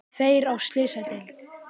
Tveir á slysadeild